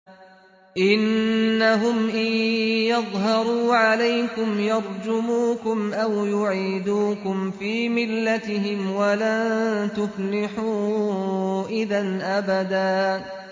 إِنَّهُمْ إِن يَظْهَرُوا عَلَيْكُمْ يَرْجُمُوكُمْ أَوْ يُعِيدُوكُمْ فِي مِلَّتِهِمْ وَلَن تُفْلِحُوا إِذًا أَبَدًا